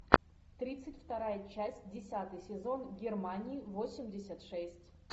тридцать вторая часть десятый сезон германии восемьдесят шесть